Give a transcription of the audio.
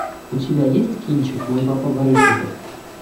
у тебя есть кинчик мой папа барышников